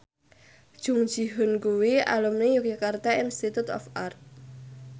Jung Ji Hoon kuwi alumni Yogyakarta Institute of Art